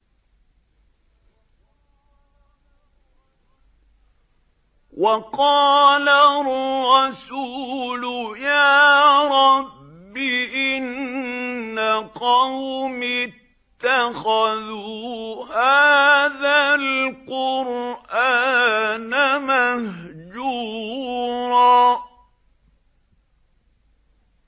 وَقَالَ الرَّسُولُ يَا رَبِّ إِنَّ قَوْمِي اتَّخَذُوا هَٰذَا الْقُرْآنَ مَهْجُورًا